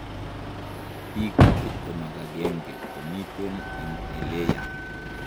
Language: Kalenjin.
pik 21 komiten en eleya